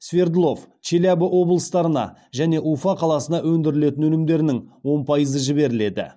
свердлов челябі облыстарына және уфа қаласына өндірілетін өнімдерінің он пайызы жіберіледі